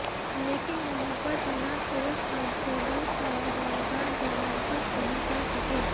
लेकिन वहां पर तैनात पुरुष कांस्टेबल और होमगार्ड जवान कुछ नहीं कर सके